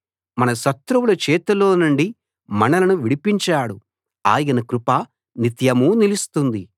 మన శత్రువుల చేతిలోనుండి మనలను విడిపించాడు ఆయన కృప నిత్యమూ నిలుస్తుంది